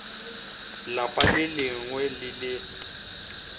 lapa le lengwe le le